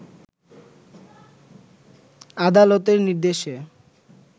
আলাদতের নির্দেশে